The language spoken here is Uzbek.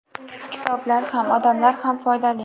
Kitoblar ham, odamlar ham foydali.